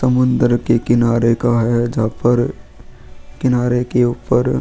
समुंदर के किनारे का है जहां पर किनारे के ऊपर.